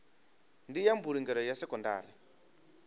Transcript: ndi ya mbulungelo ya sekondari